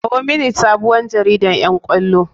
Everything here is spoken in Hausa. Kawo mini sabuwar jaridan ƴan ƙwallo.